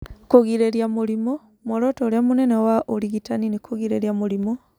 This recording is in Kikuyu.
Kũgirĩrĩria mũrimũ:muoroto ũrĩa mũnene wa ũrigitani nĩ kũgirĩrĩria mũrimũ.